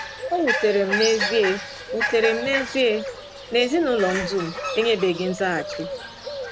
O wutere m n’ezie wutere m n’ezie na ezinụlọ m dum enyebeghi nzaghachi.